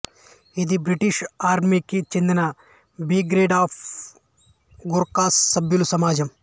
ఇది బ్రిటీష్ ఆర్మీకి చెందిన బ్రిగేడ్ ఆఫ్ గూర్ఖాస్ సభ్యుల సమాజం